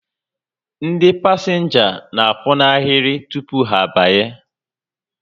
Ndị pasịnja n'akwụ n'ahịrị tupu ha abanye